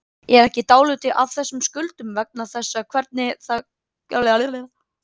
Er ekki dálítið af þessum skuldum vegna þess hvernig það kerfi virkaði?